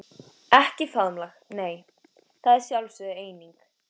Ekki faðmlag nei, það er sjálfsögð eining.